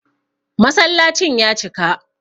Masallacin ya cika